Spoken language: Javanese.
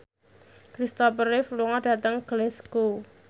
Kristopher Reeve lunga dhateng Glasgow